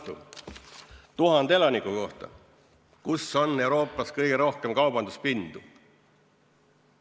Kus on 1000 elaniku kohta Euroopas kõige rohkem kaubanduspinda?